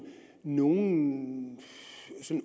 nogen